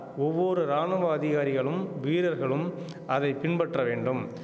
ஒவ்வொரு ராணுவ அதிகாரிகளும் வீரர்களும் அதை பின்பற்ற வேண்டும்